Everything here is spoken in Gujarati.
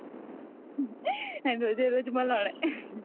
રોજ એ રોજ મલોઅના